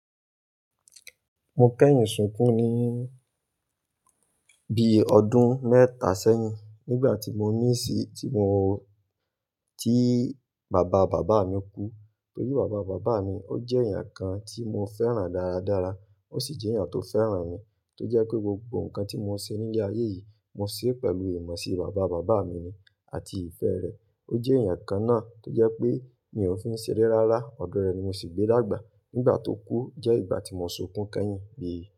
Mo kẹ́yin sunkún ní bíi ọdún mẹ́ta sẹ́yìn nígbà tí mo ní síi, tí mo, tí bàba bàbá mi kú. Torí bàba bàbá mi ó jẹ́ èèyàn kan tí mo fẹ́ràn dáradára, ó sì jẹ́ èèyàn tó fẹ́ràn mi. Tó jẹ́ pé gbogbo nǹkan tí mo ṣe nílé ayé yìí, mo ṣe é pẹ̀lú ìmọ̀sí bàba bàbá mi ni àti ìfẹ́ rẹ̀. O jẹ́ èèyàn kan náà tó jẹ́ pé mi ò fi ń ṣeré rárá, ọ̀dọ̀ rẹ̀ ni mo sì gbé dágbà. Nígbà tó kú jẹ́ ìgbà tí mo sunkún kẹ́yìn bíi.